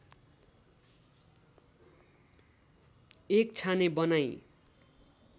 एक छाने बनाई